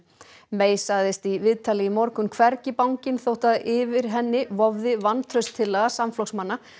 May sagðist í viðtali í morgun hvergi bangin þó að yfir henni vofði vantrauststillaga samflokksmanna